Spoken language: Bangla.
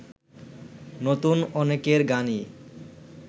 নতুন অনেকের গানই